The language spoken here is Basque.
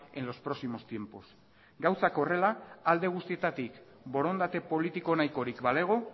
en los próximos tiempos gauzak horrela alde guztietatik borondate politiko nahikorik balego